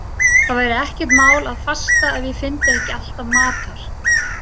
Það væri ekkert mál að fasta ef ég fyndi ekki alltaf matar